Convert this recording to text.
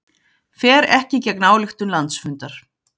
Fer ekki gegn ályktun landsfundar